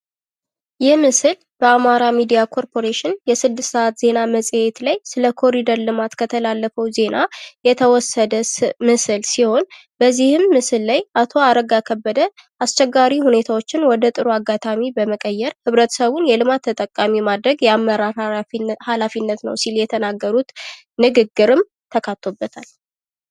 ይህ ምስል በአማራ ሚዲያ ኮርፕሬሽን የስድስት ሰዓት ዜና መፅሔት ላይ ስለ ኮኒደር ልማት ከተላለፈው ዜና የተወሰደ ምስል ሲሆን በዚህም ምስል ላይ አቶ አረጋ ከበደ አስቸጋሪ ሁኔታዎችን ወደ ጥሩ አጋጣሚ በመቀየር ህብረተሰቡን የልማት ተጠቃሚ ማድረግ የአመራር ሀላፊነት ሲል የተናገሩት ንግግርም ተካቶበታል።